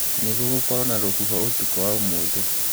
nīgūgūkorwo na rūhuho ūtukū wa ūmūthī